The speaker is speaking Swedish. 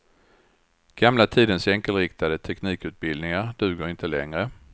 Gamla tidens enkelriktade teknikutbildningar duger inte längre.